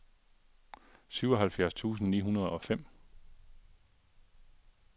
syvoghalvfjerds tusind ni hundrede og fem